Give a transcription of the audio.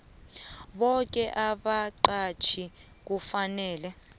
boke abaqatjhi kufanele